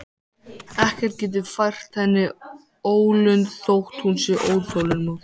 Ekkert getur fært henni ólund þótt hún sé óþolinmóð.